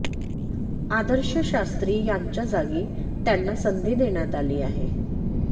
आदर्श शास्त्री यांच्या जागी त्यांना संधी देण्यात आली आहे